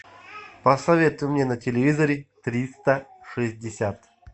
посоветуй мне на телевизоре триста шестьдесят